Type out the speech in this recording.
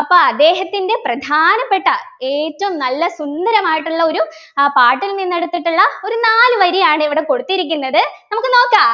അപ്പൊ അദ്ദേഹത്തിൻ്റെ പ്രധാനപ്പെട്ട ഏറ്റവും നല്ല സുന്ദരമായിട്ടുള്ള ഒരു ആഹ് പാട്ടിൽ നിന്ന് എടുത്തിട്ടുള്ള ഒരു നാല് വരിയാണ് ഇവിടെ കൊടുത്തിരിക്കുന്നത് നമുക്ക് നോക്കാ